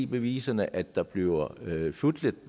beviserne at der bliver fusket